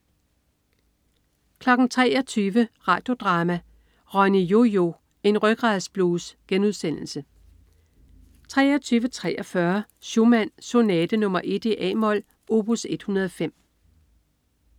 23.00 Radio Drama: Ronny-Yo-Yo, en rygradsblues* 23.43 Schumann. Sonate nr.1, a-mol, opus 105